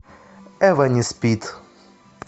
эва не спит